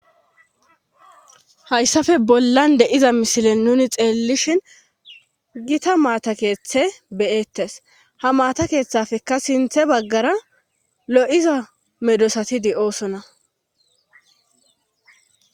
Hayssafe bollan de7iza misile nuuni xeellishin gita maata keethe be7eettes ha maata kethepekka sintha baggara lo7iza medoosati de7oosona .